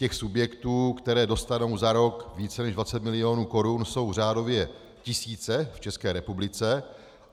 Těch subjektů, které dostanou za rok více než 20 mil. korun, jsou řádově tisíce v České republice.